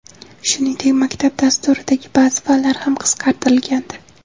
Shuningdek, maktab dasturidagi ba’zi fanlar ham qisqartirilgandi.